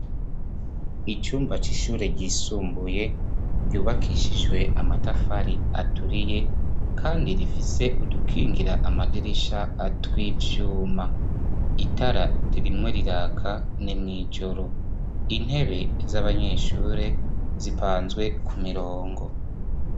Icumba c'ishure ryisumbuye ryubakishijwe amatafari aturiye kandi rifise udukingira amadirisha tw'ivyuma itara ririmwo riraka n'imwijoro intebe z'abanyeshure zipanzwe ku mirongo.